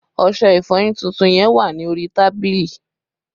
Ọṣẹ ìfọyín tuntun yẹn wà ní orí tábìlì